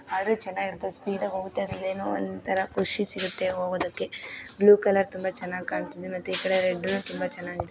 ಆದ್ರೂ ಚನ್ನಾಗಿ ಇರುತ್ತದೆ ಸ್ಪೀಡಾಗಿ ಹೂಗುತ್ತದೆ ಅದರಲ್ಲೆನೋ ಒಂತರಾ ಖುಷಿ ಸಿಗುತೆ ಹೋಗೋದಕೆ ಬ್ಲೂ ಕಲರ್ ತುಂಬಾ ಚೆನ್ನಾಗಿ ಕಾಣುತಿದೆ ಮತ ಇಕಡೆ ರೆಡ್ ತುಂಬಾ ಚೆನ್ನಾಗಿದೆ.